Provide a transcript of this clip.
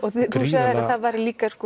sagðir að það væri líka